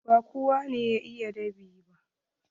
Ba kowa ne ya iya dab'i ba.